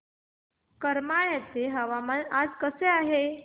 करमाळ्याचे हवामान आज कसे आहे